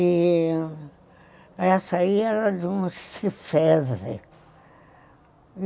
Essa aí era de um cifese.